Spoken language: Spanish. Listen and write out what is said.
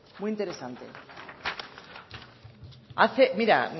muy interesante hace mira